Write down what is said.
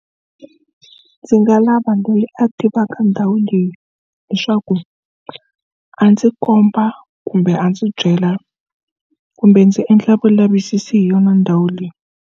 Ndzi nga lava loyi a tivaka ndhawu leyi leswaku a ndzi komba kumbe a ndzi byela kumbe ndzi endla vulavisisi hi yona ndhawu leyi.